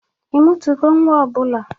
Ị mụtago nwa ọ bụla?